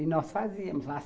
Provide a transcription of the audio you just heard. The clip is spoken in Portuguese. E nós fazíamos lá.